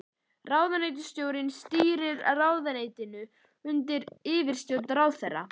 Ráðuneytisstjóri stýrir ráðuneytinu undir yfirstjórn ráðherra.